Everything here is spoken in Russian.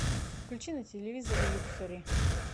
включи на телевизоре люксори